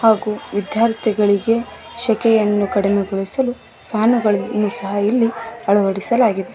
ಹಾಗೂ ವಿದ್ಯಾರ್ಥಿಗಳಿಗೆ ಶಕೆಯನ್ನು ಕಡಿಮೆಗೊಳಿಸಲು ಫ್ಯಾನು ಗಳನ್ನು ಸಹ ಇಲ್ಲಿ ಅಳವಡಿಸಲಾಗಿದೆ.